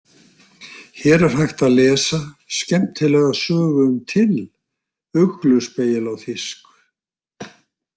Hér er hægt að lesa Skemmtilega sögu um Till Ugluspegil á þýsku.